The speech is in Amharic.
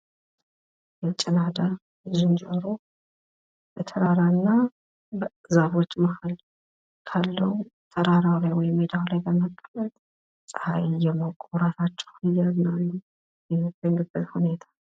ጭላዳ ዝንጀሮ ከተራራና ዛፎች መሃል ካለዉ ተራራዉ ላይ ወይም መዳዉ ላይ በመቀመጥ ጸሃይን እየሞቁ፣ እራታቸዉን እየበሉ የሚገኙበት ሁኔታ፡፡